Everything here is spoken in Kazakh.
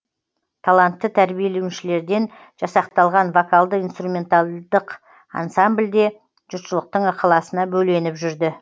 талантты тәрбиеленушілерден жасақталған вокалды инструменталдық ансамбль де жұртшылықтың ықыласына бөленіп жүрді